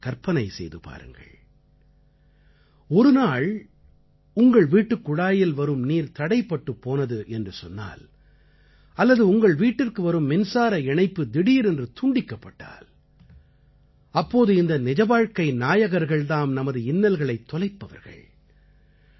சற்றே கற்பனை செய்து பாருங்கள் ஒரு நாள் உங்கள் வீட்டுக் குழாயில் வரும் நீர் தடைப்பட்டுப் போனது என்று சொன்னால் அல்லது உங்கள் வீட்டிற்கு வரும் மின்சார இணைப்பு திடீரென்று துண்டிக்கப்பட்டால் அப்போது இந்த நிஜவாழ்க்கை நாயகர்கள் தாம் நமது இன்னல்களைத் தொலைப்பவர்கள்